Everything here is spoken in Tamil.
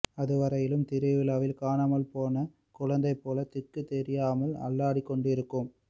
அது வரையிலும் திருவிழாவில் காணாமல் போன குழந்தை போல் திக்குத் தெரியாமல் அள்ளாடிக்கொண்டிருக்கும்